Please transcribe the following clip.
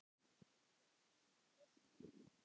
Og þvílík veisla!